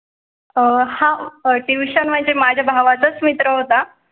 अं tuition म्हणजे माझ्या भावाचा मित्र होता